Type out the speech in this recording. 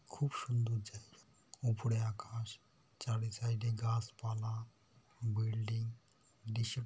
খুবই সুন্দর জায়গা উপরে আকাশ চারি সাইডে গাছপালা বিল্ডিং দৃশ্য--